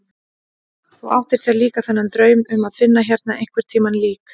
Þú áttir þér líka þennan draum um að finna hérna einhvern tíma lík.